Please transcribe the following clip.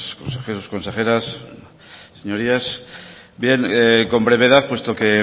consejeros consejeras señorías bien con brevedad puesto que